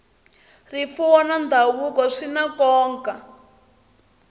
rifuwo na ndhavuko swi na nkoka